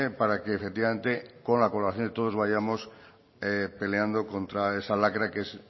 para que efectivamente con la colaboración de todos vayamos peleando contra esa lacra que es